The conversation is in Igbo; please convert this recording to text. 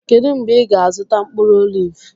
kedụ mgbe ị ga-azụta mkpụrụ oliv?